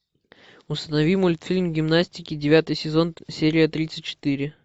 установи мультфильм гимнастики девятый сезон серия тридцать четыре